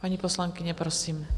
Paní poslankyně, prosím.